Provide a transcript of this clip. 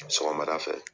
Sɔgɔmada fɛ